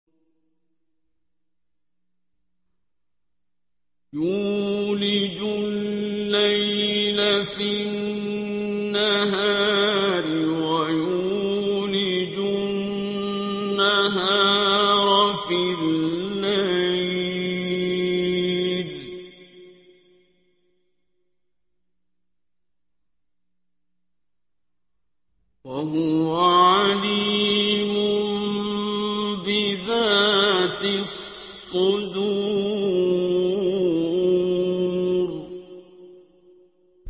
يُولِجُ اللَّيْلَ فِي النَّهَارِ وَيُولِجُ النَّهَارَ فِي اللَّيْلِ ۚ وَهُوَ عَلِيمٌ بِذَاتِ الصُّدُورِ